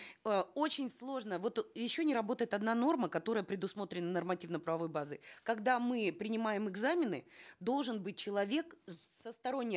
э очень сложно вот еще не работает одна норма которая предусмотрена нормативно правовой базой когда мы принимаем экзамены должен быть человек со сторонней